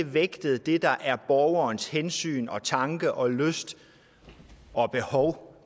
vægtet det der er borgerens hensyn og tanke og lyst og behov